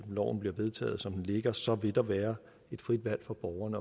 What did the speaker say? vedtaget som det ligger så vil der være et frit valg for borgerne